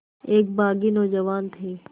एक बाग़ी नौजवान थे